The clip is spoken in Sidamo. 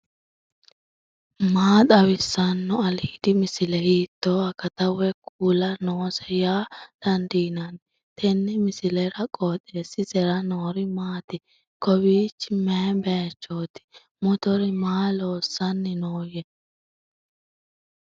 maa xawissanno aliidi misile ? hiitto akati woy kuuli noose yaa dandiinanni tenne misilera? qooxeessisera noori maati ? kowiichi mayi baychooti motore maa loossanni nooyya